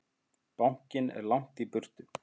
Bankinn er langt í burtu.